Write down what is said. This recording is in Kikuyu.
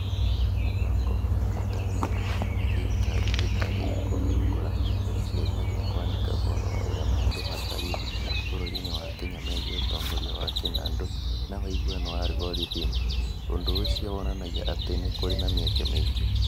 Mũbango na Ũnyitanĩri wa Thirikari Ĩtarĩ ya Kũhingũra nĩ ciĩriragĩria kwandĩka ũhoro wa ũrĩa maũndũ matariĩ bũrũri-inĩ wa Kenya megiĩ ũtongoria wa kĩnandũ na ũiguano wa algorithm. Ũndũ ũcio wonanagia atĩ kũrĩ na mĩeke mĩingĩ.